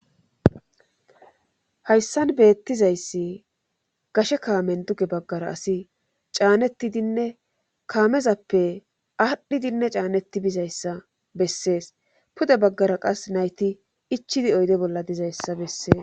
Hayssan beettizayssi gashe kaamen duge baggara asi caanetidinne kaamezappe aadhdhidinne caanetti bizayssa bessees pude baggara qas nayti ichidi oyde bolla dizayssa bessees.